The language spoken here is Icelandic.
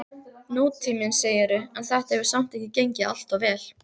Nútíminn, segirðu, en þetta hefur samt ekki gengið alltof vel?